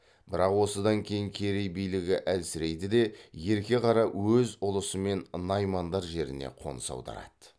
бірақ осыдан кейін керей билігі әлсірейді де ерке қара өз ұлысымен наймандар жеріне қоныс аударады